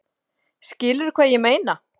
Skilurðu hvað ég meina?